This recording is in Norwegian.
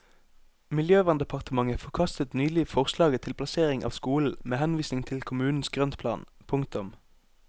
Miljøverndepartementet forkastet nylig forslaget til plassering av skolen med henvisning til kommunens grøntplan. punktum